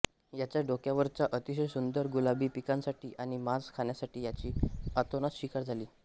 याच्या डोक्यावरच्या अतिशय सुंदर गुलाबी पिसांसाठी आणि मांस खाण्यासाठी याची अतोनात शिकार झाली